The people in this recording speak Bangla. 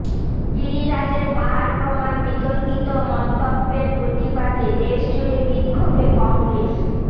গিরিরাজের পাহাড় প্রমাণ বিতর্কিত মন্তব্যের প্রতিবাদে দেশজুড়ে বিক্ষোভে কংগ্রেস